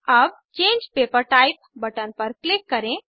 अब change paper type button पर click करें